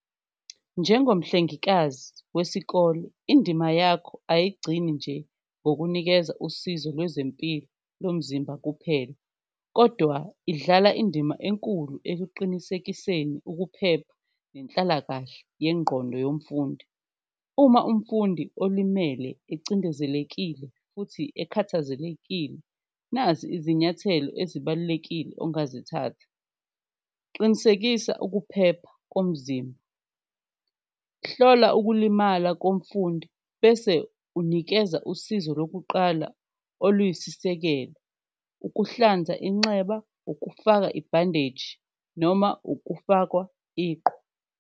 Njengomhlengekazi wesikole indima yakho ayigcini nje ngokunikeza usizo lwezempilo lomzimba kuphela, kodwa idlala indima enkulu ekuqinisekiseni ukuphepha nenhlalakahle yengqondo yomfundi. Uma umfundi olimele ecindezelekile futhi ekhathazelekile nazi izinyathelo ezibalulekile ongazithatha, qinisekisa ukuphepha komzimba, hlola ukulimala komfundi. Bese unikeza usizo lokuqala oluyisisekelo, ukuhlanza inxeba, ukufaka ibhandeji noma ukufakwa iqhwa.